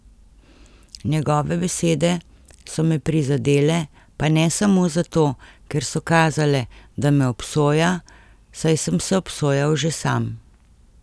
Njegove besede so me prizadele, pa ne samo zato, ker so kazale, da me obsoja, saj sem se obsojal že sam.